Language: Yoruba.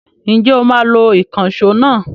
Ǹjẹ́ o máa lo ìkànṣó náà?